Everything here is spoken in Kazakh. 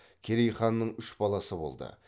керей ханның үш баласы болды